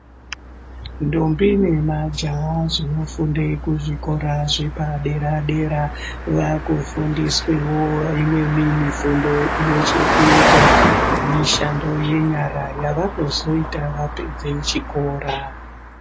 Ndombi nemajaha zvinofunde, kuzvikora zvepadera-dera, vakufundiswewo imweni mifundo, ine chekuita, nemishando yenyara, yavanozoita vapedze chikora.